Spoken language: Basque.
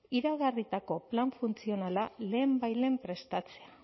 iragarritako plan funtzionala lehenbailehen prestatzea